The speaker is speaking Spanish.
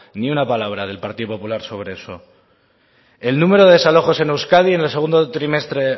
ni una palabra del partido popular sobre eso el número de desalojos en euskadi en el segundo trimestre